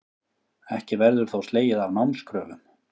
Ekki verður þó slegið af námskröfum